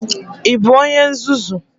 Ị bụ onye nzuzu?